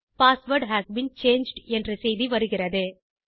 password has been changed என்ற செய்தி வருகிறது